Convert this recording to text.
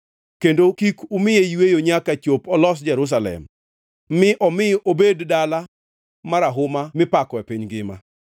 kendo kik umiye yweyo nyaka chop olos Jerusalem mi omi obed dala marahuma mipako e piny ngima.